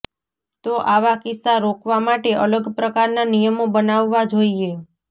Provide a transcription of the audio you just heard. તો આવા કિસ્સા રોકવા માટે અલગ પ્રકારના નિયમો બનાવવા જોઈએ